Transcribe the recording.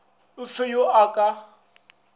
o fe yo a ka